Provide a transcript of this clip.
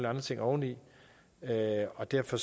andre ting oveni og derfor